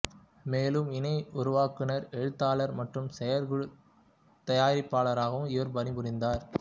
மேலும் இணைஉருவாக்குனர் எழுத்தாளர் மற்றும் செயற்குழுத் தயாரிப்பாளராகவும் இவர் பணிபுரிந்தார்